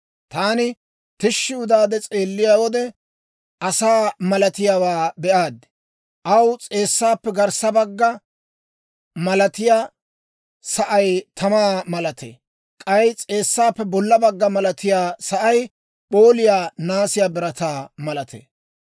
Taani tishshi udaade s'eelliyaa wode, asaa malatiyaawaa be'aad; aw s'eessaappe garssa bagga malatiyaa sa'ay tamaa malatee; k'ay s'eessaappe bolla bagga malatiyaa sa'ay p'ooliyaa naasiyaa birataa malatee.